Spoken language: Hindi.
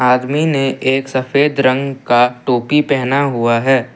आदमी ने एक सफेद रंग का टोपी पहना हुआ है।